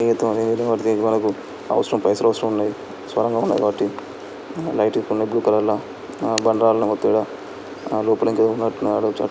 అవసరం పైసలు అవసరం ఉన్నది. సొరంగం ఉన్నది. మట్టి లైట్ ఇంకున్నది బ్లూ కలర్ లో బండరాళ్ల మధ్యన లోపలికి ఉన్నట్టున్నది. అటు దిక్కు--